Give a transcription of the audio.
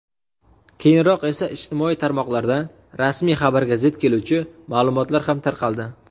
Keyinroq esa ijtimoiy tarmoqlarda rasmiy xabarga zid keluvchi ma’lumotlar ham tarqaldi.